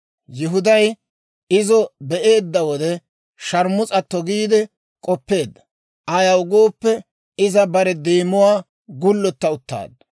Yihuday izo be'eedda wode, sharmus'atto giide k'oppeedda; ayaw gooppe, iza bare deemuwaa gullotta uttaaddu.